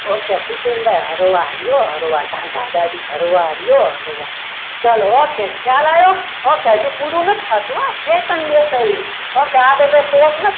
okay પુતીનભાઈ હળવા રો, હરવા રહ્યો ટાઢા ગાડી ભરવાડો ચલો ઓકે ખ્યાલ આવ્યો okay હજી પૂરું નથી થતું હો okay આ બધું શોખ નથી